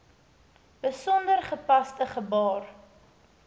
besonder gepaste gebaar